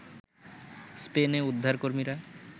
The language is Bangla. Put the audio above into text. স্পেনে উদ্ধারকর্মীরা